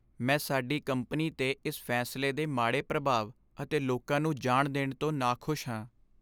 ਮੈਂ ਸਾਡੀ ਕੰਪਨੀ 'ਤੇ ਇਸ ਫੈਸਲੇ ਦੇ ਮਾੜੇ ਪ੍ਰਭਾਵ ਅਤੇ ਲੋਕਾਂ ਨੂੰ ਜਾਣ ਦੇਣ ਤੋਂ ਨਾਖੁਸ਼ ਹਾਂ।